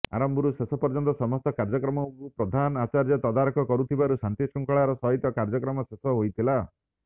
ଆରମ୍ଭରୁ ଶେଷ ପର୍ଯ୍ଯନ୍ତ ସମସ୍ତ କାର୍ଯ୍ୟକ୍ରମକୁ ପ୍ରଧାନ ଆଚାର୍ଯ୍ୟ ତଦାରଖ କରୁଥିବାରୁ ଶାନ୍ତିଶୃଙ୍ଖଳାର ସହିତ କାର୍ଯ୍ୟକ୍ରମ ଶେଷ ହୋଇଥିଲା